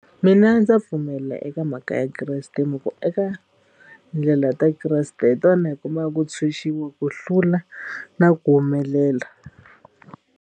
Mina ndza pfumela eka mhaka ya kreste hi mhaku eka ndlela ta kreste hi tona hi kumaku ntshuxiwi ku hlula na ku humelela.